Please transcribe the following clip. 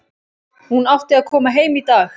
Hún átti að koma heim í dag.